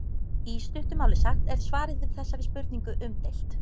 í stuttu máli sagt er svarið við þessari spurningu umdeilt